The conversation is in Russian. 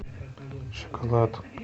шоколад